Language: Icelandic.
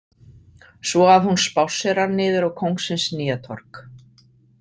Svo að hún spásserar niður á Kóngsins Nýjatorg.